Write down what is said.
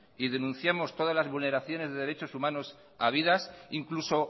y denunciamos todas las vulneraciones de derechos humanos habidas incluso